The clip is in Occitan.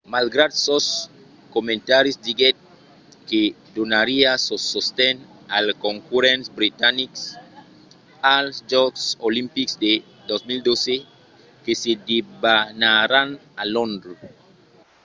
malgrat sos comentaris diguèt que donariá sos sosten als concurrents britanics als jòcs olimpics de 2012 que se debanaràn a londres